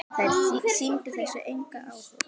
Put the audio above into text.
Þær sýndu þessu engan áhuga.